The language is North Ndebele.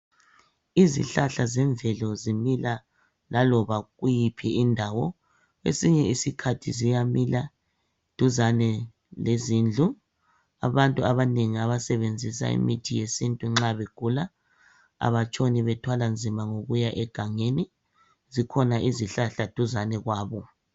Izihlahla zemvelo zimila laloba kuyiphi indawo. Kwesinye isikhathi ziyamila duzane lezindlu. Abantu abanengi abasebenzisa imithi yesiNtu nxa begula abathwali nzima ngokuya egangeni zikhona izihlahla duzane kwabo.